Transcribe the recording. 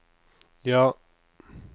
ja